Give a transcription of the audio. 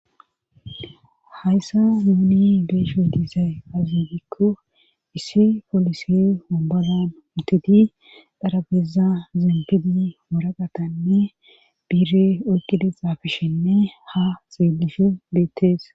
Hhayssa muuni beeshu hidiisay azigikko issi polisi obolan mutidi dharabeeza zeempidi moraqatanne biire oyqile xaafishenne ha xiillishu beettees.